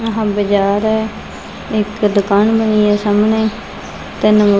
ਯਹਾਂ ਬਾਜ਼ਾਰ ਹੈ ਇੱਕ ਦੁਕਾਨ ਬਣੀ ਹੈ ਸਾਹਮਣੇ ਤਿੰਨ--